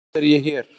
Samt er ég hér.